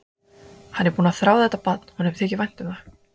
Hann er búinn að þrá þetta barn, honum þykir vænt um það.